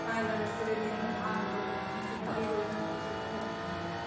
കാലാവസ്ഥാവ്യതിയാനവും ആഗോളതാപനത്തിനുമൊക്കെ എതിരെ നമുക്ക് ചെയ്യാൻ പറ്റുന്നത്